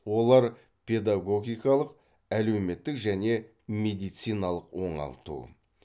олар педагогикалық әлеуметтік және медициналық оңалту